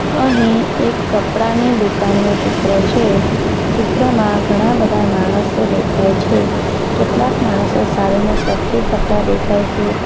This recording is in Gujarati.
અહીં એક કપડાની દુકાનનું ચિત્ર છે ચિત્રમાં ઘણા બધા માણસો દેખાય છે કેટલાક માણસો સાડીને સરખી કરતા દેખાય છે.